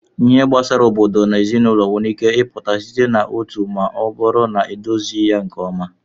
Ihe gbasara obodo na ezinụlọ nwere ike ịpụta site na otu ma ọ bụrụ na edozighị ya nke ọma.